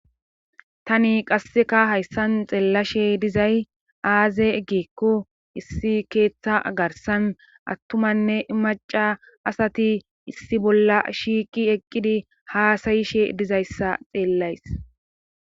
Tani qasseka hayssan xeellashe dizay aaze egikku issi keeththa garsan attumanne maca asati issi bolla shiiqi eqqidi haasayishe dizayssa xeellays.